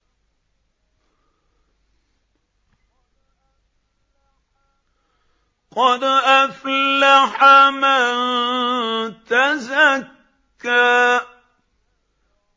قَدْ أَفْلَحَ مَن تَزَكَّىٰ